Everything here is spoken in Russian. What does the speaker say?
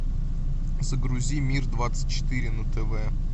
загрузи мир двадцать четыре на тв